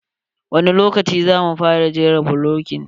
Wani lokaci za mu fara jera bulokin?